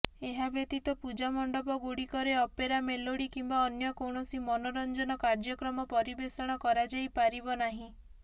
ଏହାବ୍ୟତୀତ ପୂଜା ମଣ୍ଡପ ଗୁଡିକରେ ଅପେରା ମେଲୋଡି କିମ୍ବା ଅନ୍ୟ କୌଣସି ମନୋରଂଜନ କାର୍ଯ୍ୟକ୍ରମ ପରିବେଷଣ କରାଯାଇପାରିବ ନାହିଁ